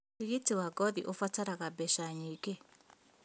Ũrigiti wa ngothi ũbataraga mbeca nyingĩ